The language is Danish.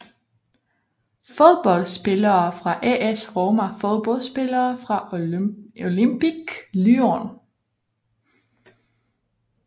Fodboldspillere fra AS Roma Fodboldspillere fra Olympique Lyon